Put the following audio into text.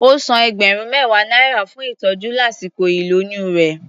Ó san ẹgbẹ̀rún mẹ́wàá náírà fún ìtọ́jú lásìkò ìlóyún rẹ̀.